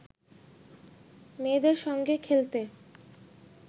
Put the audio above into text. মেয়েদের সঙ্গে খেলতে